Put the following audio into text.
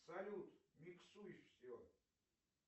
салют миксуй все